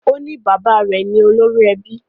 O ní bàbá rẹ̀ ni olórí ẹbí